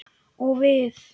Og við?